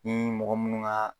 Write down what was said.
Ni mɔgɔ munnu ga